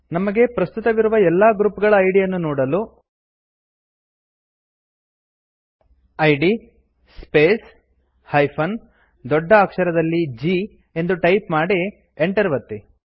ನಮಗೆ ಪ್ರಸ್ತುತವಿರುವ ಎಲ್ಲಾ ಗ್ರುಪ್ ಗಳ ಐಡಿ ಯನ್ನು ನೋಡಲು ಇದ್ ಸ್ಪೇಸ್ - ದೊಡ್ಡ ಅಕ್ಷರದಲ್ಲಿG ಎಂದು ಟೈಪ್ ಮಾಡಿ enter ಒತ್ತಿ